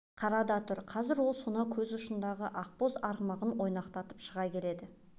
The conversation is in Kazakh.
қара да тұр қазір ол сонау көз ұшындағы ақбоз арғымағын ойнақтатып шыға келеді